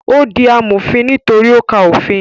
Ó di amòfin nítorí ó ka òfin